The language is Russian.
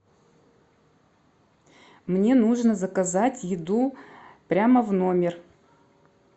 мне нужно заказать еду прямо в номер